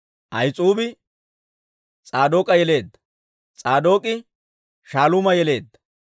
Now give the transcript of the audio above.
Ahis'uubi S'aadook'a yeleedda; S'aadook'e Shaaluuma yeleedda;